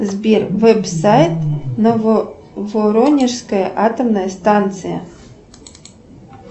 сбер веб сайт нововоронежская атомная станция